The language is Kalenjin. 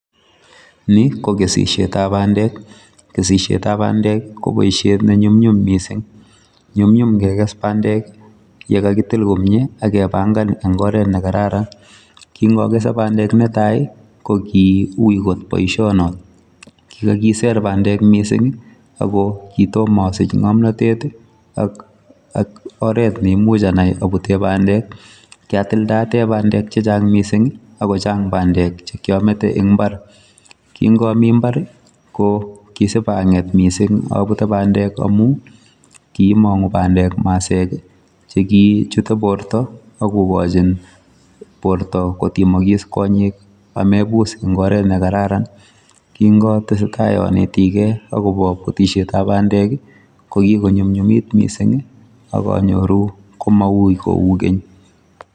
Ni ko kesishetab badek kesishetab bandek koboishe ne nyumnyum missing, nyumnyum kekes bandek ye kakitil komie ak kebangan eng oret ne kararan. Kingokese bandek netai ko ki ui got boisio notok kikakiser bandek missing ako kitom asich ngomnotet ak oret ne amuch anai abute bandek kiatildaate bandek che chang missing ako chang bandek che kiamete eng imba.r Kingomi mbar ko kisipanget missing abute bandek amu kimongu bandek masek che kichute borto ak kokojin borto kotimokis konyek amebus eng oret ne kararan. Kingotesetai anetigei akobo butishetab bandek ko kikonyunyumit missing ak anyoru komaui kou ngeny.